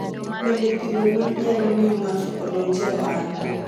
Bende, pidho gwen nyalo miyo ng'ato odonj e ohala.